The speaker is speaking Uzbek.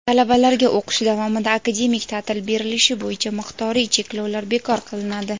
Talabalarga o‘qish davomida akademik ta’til berilishi bo‘yicha miqdoriy cheklovlar bekor qilinadi.